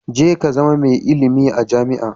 Ka je ka zama mai ilimi a jami'a.